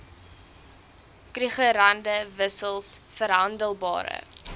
krugerrande wissels verhandelbare